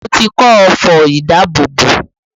Mo ti kọ́ ọfọ̀ ìdábòbò